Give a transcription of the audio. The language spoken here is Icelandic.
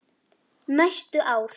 Næstu ár.